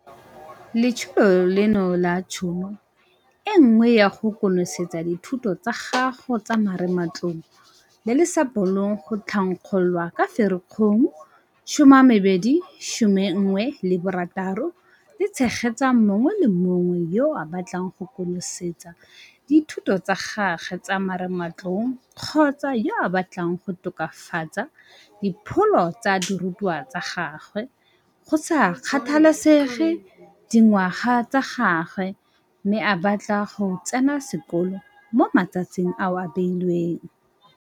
Letsholo leno la Tšhono e Nngwe ya go konosetsa dithuto tsa gago tsa marematlou, le le sa bolong go thankgololwa ka Ferikgong 2016 le tshegetsa mongwe le mongwe yo a batlang go konosetsa dithuto tsa gagwe tsa marematlou kgotsa yo a batlang go tokafatsa dipholo tsa dirutwa tsa gagwe, go sa kgathalesege dingwaga tsa gagwe, mme a batla go tsena sekolo mo matsatsing ao a beilweng.